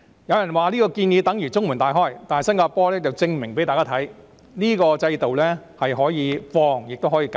有人說這個建議等於中門大開，但新加坡已向大家證明，這個制度既可擴展，亦可收緊。